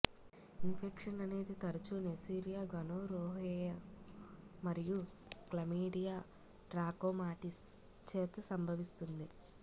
infection అనేది తరచూ Neisseria gonorrhoeae మరియు క్లమీడియా ట్రాకోమాటిస్ చేత సంభవిస్తుంది